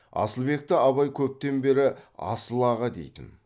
асылбекті абай көптен бері асыл аға дейтін